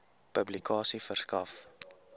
publikasie verskaf